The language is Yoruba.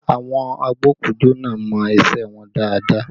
Àwọn agbokujo náà mọ isẹ wọn dáadáa